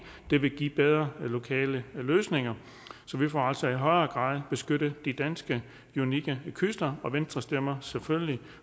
det vil give bedre lokale løsninger så vi får altså i højere grad beskyttet de danske unikke kyster og venstre stemmer selvfølgelig